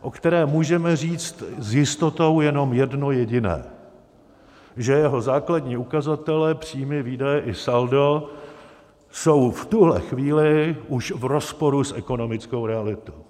o kterém můžeme říct s jistotou jenom jedno jediné, že jeho základní ukazatelé, příjmy, výdaje i saldo, jsou v tuhle chvíli už v rozporu s ekonomickou realitou.